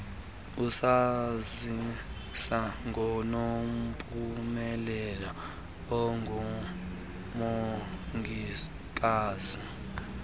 usazisa ngonompumelelo ongumongikazi